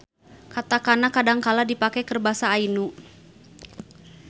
Katakana kadangkala dipake keur Basa Ainu.